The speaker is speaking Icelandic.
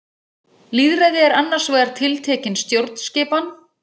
Lýðræði er annars vegar tiltekin stjórnskipan.